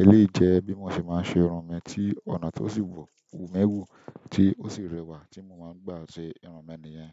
Eléèyi jèé bí mo ṣe máa ń ṣe irun mi tí ọ̀nà tó sì wù wu mí wù tí ó sì rẹwà tí mo máa ń gbà ṣe irun mi nìyẹn.